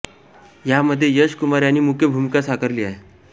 या मध्ये यश कुमार यांनी मुख्य भूमिका साकारली आहे